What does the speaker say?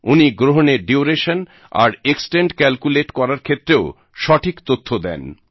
উনি গ্রহণের ডিওরেশন আর এক্সটেন্ট ক্যালকুলেট করার ক্ষেত্রেও সঠিক তথ্য দেন